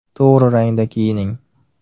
To‘g‘ri rangda kiyining.